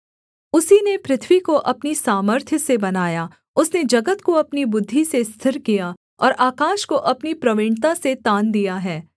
उसी ने पृथ्वी को अपनी सामर्थ्य से बनाया उसने जगत को अपनी बुद्धि से स्थिर किया और आकाश को अपनी प्रवीणता से तान दिया है